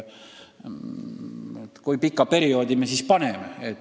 Kui pika perioodi me siis piiriks paneme?